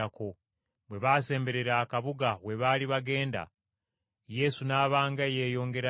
Bwe baasemberera akabuga we baali bagenda, Yesu n’aba nga eyeeyongerayo,